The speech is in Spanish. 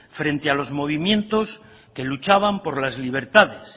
frente a los movimientos que luchaban por las libertades